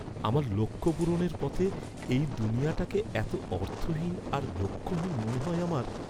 আমার লক্ষ্য পূরণের পথে এই দুনিয়াটাকে এত অর্থহীন আর লক্ষ্যহীন মনে হয় আমার!